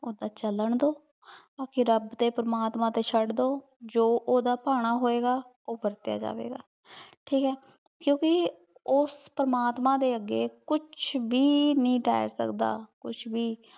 ਓਦਾਂ ਚਾਲਾਂ ਦੋ ਬਾਕ਼ੀ ਰਾਬ ਦੇ ਪਰਮਾਤਮਾ ਤੇ ਚੜ ਦੋ ਜੋ ਊ ਓਹਦਾ ਪਾਨ ਹੋਆਯ ਗਾ ਊ ਵਾਰ੍ਤ੍ਯਾ ਜੇ ਗਾ ਠੀਕ ਆਯ ਕ੍ਯੂ ਕੀ ਓਸ ਪਰਮਾਤਮਾ ਦੇ ਅਗੇ ਕੁਛ ਵੀ ਨਹੀ ਰਹ ਸਕਦਾ ਕੁਛ ਵੀ